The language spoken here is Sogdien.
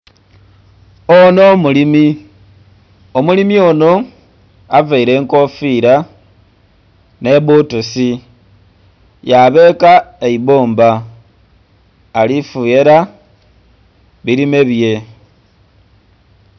Onho mulimi, omulimi onho availe enkofiira nhe bbutusi yabeeka eibumba ali fughera bilime bye.